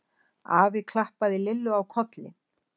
Afi klappaði Lillu á kollinn.